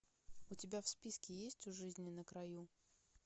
у тебя в списке есть у жизни на краю